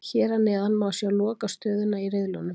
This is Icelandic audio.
Hér að neðan má sjá lokastöðuna í riðlunum.